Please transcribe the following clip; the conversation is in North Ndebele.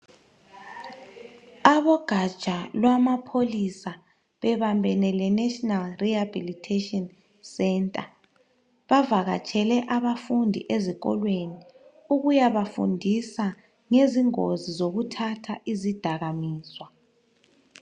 Abogaja lwamapholisa bebambene le national rehabilitation center bavakatshele abafundi ezikolweni ukuyabafundisa ngezingozi zokuthatha izidakamizwa.